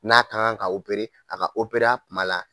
N'a ka ŋan ka a ka a tuma la